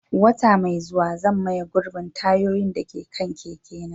Wata mai zuwa, zan maye gurbin tayoyin da ke kan keke na.